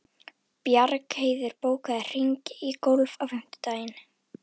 Bjargheiður, bókaðu hring í golf á fimmtudaginn.